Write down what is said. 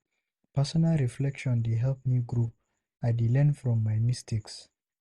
Personal reflection dey help me grow, I dey learn from my mistakes.